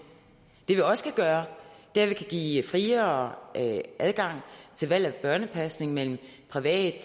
det vi også kan gøre er at vi kan give friere adgang til valg af børnepasning mellem private